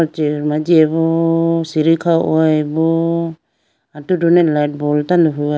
Chair ma jihoyi bo sidi kha hoyi bo atudi ne light boll tando huyi bo.